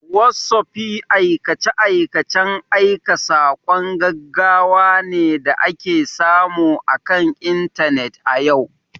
Whotsupi aikace-aikacen aika saƙon gaggawa ne da ake samu akan Intanet a yau